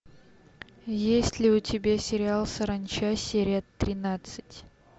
есть ли у тебя сериал саранча серия тринадцать